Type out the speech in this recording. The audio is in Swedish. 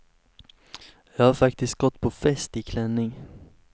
Jag har faktiskt gått på fest i klänning.